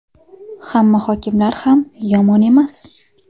Hamma hokimlar ham yomon emas.